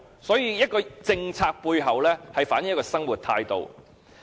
所以，一項政策背後，反映出一個生活態度。